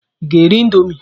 Ịga eri indomi?